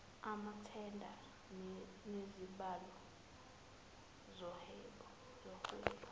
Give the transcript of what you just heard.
amathenda nezibalo zohwebo